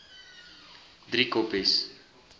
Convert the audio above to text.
driekoppies